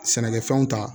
Sɛnɛkɛfɛnw ta